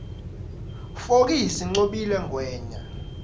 fokisi ncobile ngwenya